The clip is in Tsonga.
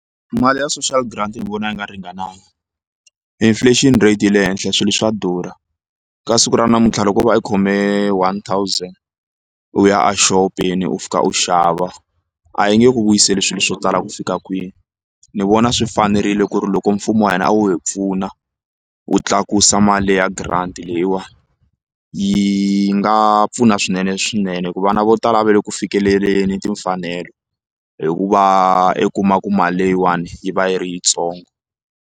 Mali ya social grant ni vona yi nga ringananga inflation rate yi le henhla swilo swa durha ka siku ra namuntlha loko o va u khome one thousand u ya exopeni u fika u xava a yi nge ku vuyiseli swilo swo tala ku fika kwihi ni vona swi fanerile ku ri loko mfumo wa hina a wo hi pfuna wu tlakusa mali ya grant leyiwani yi nga pfuna swinene swinene hi ku vana vo tala a va le ku fikeleleni timfanelo hi ku va i kuma ku mali leyiwani yi va yi ri yitsongo.